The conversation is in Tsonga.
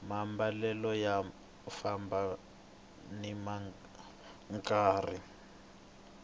maambalelo ya famba nimi nkarhi